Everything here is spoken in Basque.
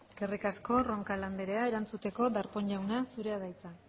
eskerrik asko roncal anderea erantzuteko darpón jauna zurea da hitza